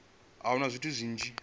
hu na zwithu zwinzhi zwo